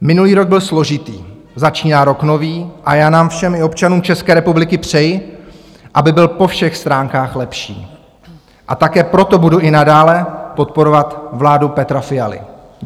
Minulý rok byl složitý, začíná rok nový a já nám všem i občanům České republiky přeji, aby byl po všech stránkách lepší, a také proto budu i nadále podporovat vládu Petra Fialy.